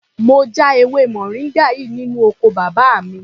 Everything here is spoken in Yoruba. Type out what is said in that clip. Mo já ewé moringa yìí nínú oko bàbá mi.